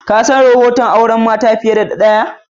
Ka san rohoton auren mata fiyar da daya?